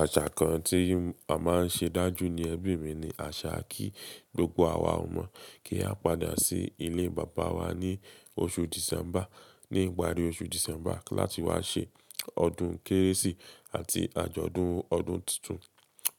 Àṣà kan tí a máa ń ṣe dájú ní ẹbí mi ni àṣà kí gbogbo àwa ọmọ kí a padà sí ilé bàbá wa ní oṣù December, ní ìparí oṣù December láti wá ṣe ọdún Kérésì ati àjọ̀dún ọdún tuntun.